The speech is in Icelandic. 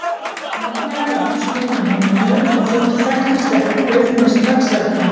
Magnea var húsmóðirin á heimilinu og þótt við þekktumst ekkert bauð hún mig strax velkomna.